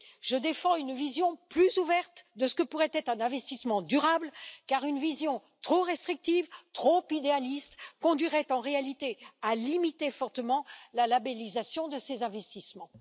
Je défends une vision plus ouverte de ce que pourrait être un investissement durable car une vision trop restrictive, trop idéaliste conduirait en réalité à limiter fortement la labellisation de ces investissements.